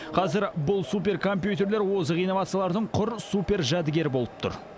қазір бұл суперкомпьютерлер озық инновациялардың құр супер жәдігері болып тұр